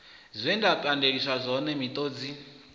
zwe nda pandeliswa zwone miṱodzi